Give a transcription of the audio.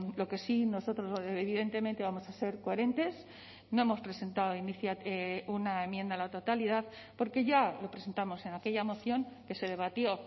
lo que sí nosotros evidentemente vamos a ser coherentes no hemos presentado una enmienda a la totalidad porque ya lo presentamos en aquella moción que se debatió